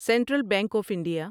central bank of India